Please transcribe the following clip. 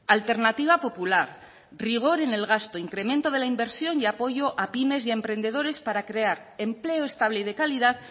alternativa popular rigor en el gasto incremento de la inversión y apoyo a pymes y emprendedores para crear empleo estable y de calidad